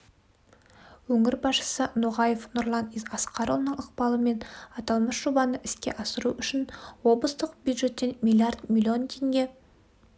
өңір басшысы ноғаев нұрлан асқарұлының ықпалымен аталмыш жобаны іске асыру үшін облыстық бюджеттен млрд млн теңге